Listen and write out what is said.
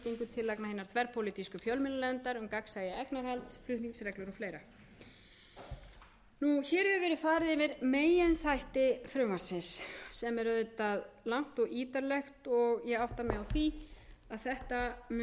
tillagna hinnar þverpólitísku fjölmiðlanefndar um gagnsæi eignarhalds flutningsreglur og fleiri hér hefur verið farið eftir meginþætti frumvarpsins sem er auðvitað langt og ítarlegt og ég átta mig á því að þetta mun að